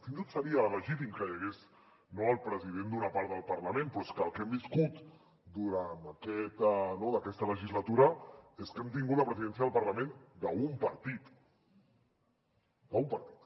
fins i tot seria legítim que hi hagués el president d’una part del parlament però és que el que hem viscut durant aquesta legislatura és que hem tingut la presidència del parlament d’un partit d’un partit